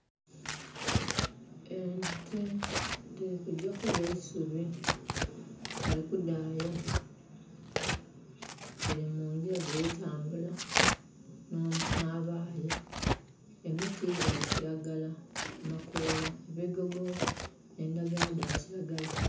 Ente dhiri kugya kulya isubi bali kudhaya dhiri mungira dhiri tambula nh'abaayi. Emiti gya kiragala amakola, ebigogo endhagala dha kiragala.